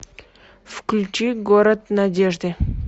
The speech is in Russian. включи город надежды